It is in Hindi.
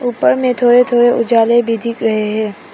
उपर में थोड़े थोड़े उजाले भी दिख रहे हैं।